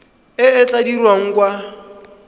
e e tla dirwang kwa